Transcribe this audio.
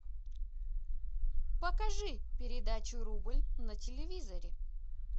покажи передачу рубль на телевизоре